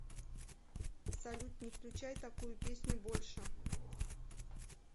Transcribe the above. салют не включай такую песню больше